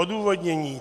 Odůvodnění.